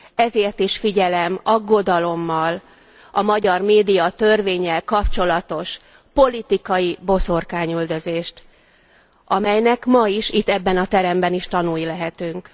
Ezért is figyelem aggodalommal a magyar médiatörvénnyel kapcsolatos politikai boszorkányüldözést, amelynek ma is, itt ebben a teremben is tanúi lehetünk.